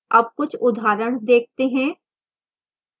अब कुछ उदाहरण देखते हैं